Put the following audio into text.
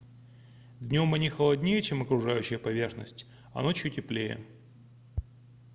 днём они холоднее чем окружающая поверхность а ночью теплее